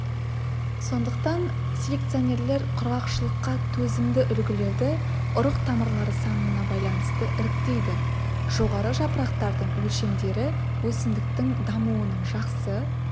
сондықтан селекционерлер құрғақшылыққа төзімді үлгілерді ұрық тамырлары санына байланысты іріктейді жоғарғы жапырақтардың өлшемдері өсімдіктің дамуының жақсы